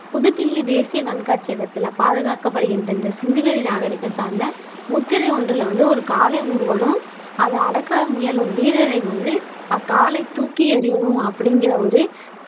புதுடில்லி தேசிய கண்காட்சியகத்தில பாதுகாக்கப்படுகின்ற இந்த சிந்துவெளி நாகரிகம் சார்ந்த முத்திரை ஒன்றுல வந்து ஒரு காளை அதை அடக்க முயலும் வீரரை வந்து அக்காளை தூக்கி எறிவதும் அப்படிங்கிற ஒரு